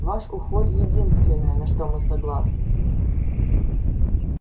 ваш уход единственное на что мы согласны